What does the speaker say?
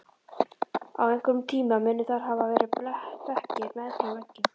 Á einhverjum tíma munu þar hafa verið bekkir meðfram veggjum.